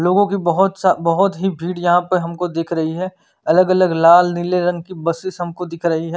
लोगों की बहुत सा बहुत ही भीड़ यहाँ पे हमको दिख रही है अलग अलग लाल नीले रंग की बसीस दिख रही हैं।